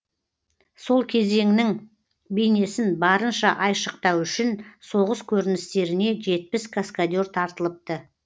сол кезеңнің бейнесін барынша айшықтау үшін соғыс көріністеріне жетпіс каскадер тартылыпты